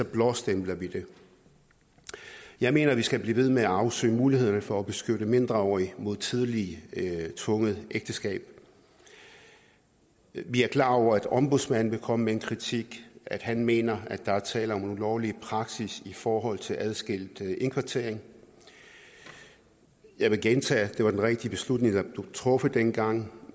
blåstempler vi det jeg mener vi skal blive ved med at afsøge mulighederne for at beskytte mindreårige mod tidlige tvungne ægteskaber vi er klar over at ombudsmanden vil komme med en kritik at han mener at der er tale om ulovlig praksis i forhold til adskilt indkvartering jeg vil gentage at det var den rigtige beslutning der blev truffet dengang